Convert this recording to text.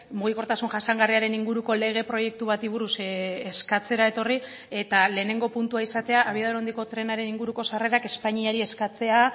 mugikortasun jasangarriaren inguruko lege proiektu bati buruz eskatzera etorri eta lehenengo puntua izatea abiadura handiko trenaren inguruko sarrerak espainiari eskatzea